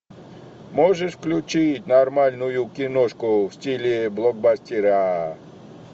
можешь включить нормальную киношку в стиле блокбастера